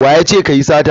Wa ya ce ka yi sata?